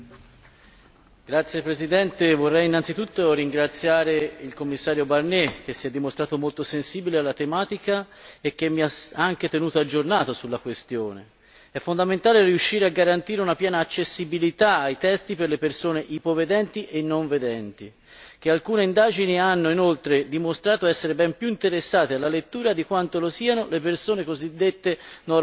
Signor Presidente, onorevoli colleghi, vorrei innanzitutto ringraziare il Commissario Barnier che si è dimostrato molto sensibile alla tematica e che mi ha anche tenuto aggiornato sulla questione. È fondamentale riuscire a garantire una piena accessibilità ai testi per le persone ipovedenti e non vedenti, che alcune indagini hanno inoltre dimostrato essere ben più interessate alla lettura di quanto lo siano persone cosiddette normodotate.